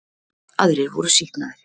Aðrir voru sýknaðir